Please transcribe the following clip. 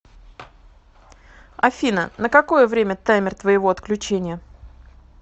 афина на какое время таймер твоего отключения